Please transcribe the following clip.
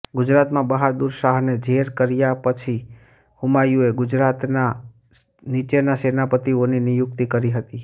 ગુજરાતમાં બહાદુર શાહને જેર કર્યા પછી હુમાયુએ ગુજરાતમાં નીચેના સેનાપતિઓની નિયુક્તિ કરી હતીઃ